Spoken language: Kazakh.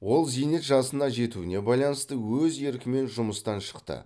ол зейнет жасына жетуіне байланысты өз еркімен жұмыстан шықты